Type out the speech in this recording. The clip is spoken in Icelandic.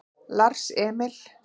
Lars Emil